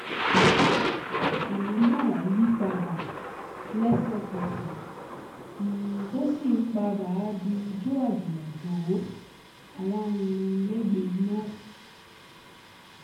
ìlú náà yí padà lẹ́sẹ̀kẹsẹ̀ tó sì ń padà di ijó àjùmọ̀jó alárinrin lẹgbẹ iná